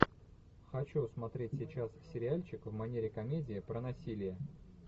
хочу смотреть сейчас сериальчик в манере комедия про насилие